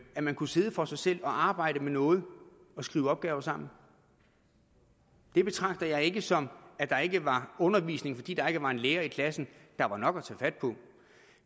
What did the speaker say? at man kunne sidde for sig selv og arbejde med noget og skrive opgaver sammen det betragter jeg ikke sådan at der ikke var undervisning fordi der ikke var en lærer i klassen der var nok at tage fat på